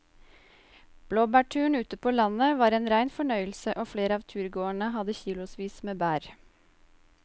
Blåbærturen ute på landet var en rein fornøyelse og flere av turgåerene hadde kilosvis med bær.